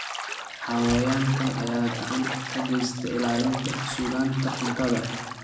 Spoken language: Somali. Xayawaankan ayaa gacan ka geysta ilaalinta sugnaanta cuntada.